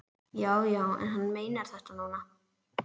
Já, já, en hann meinar þetta núna.